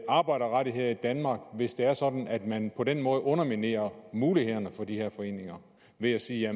arbejderrettigheder i danmark hvis det er sådan at man på den måde underminerer mulighederne for de her foreninger ved at sige at